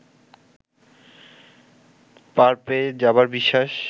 পার পেয়ে যাবার বিশ্বাস